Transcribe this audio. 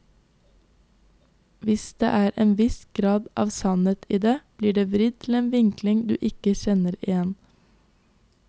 Hvis det er en viss grad av sannhet i det, blir det vridd til en vinkling du ikke kjenner igjen.